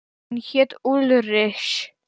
Hann hét Ulrich.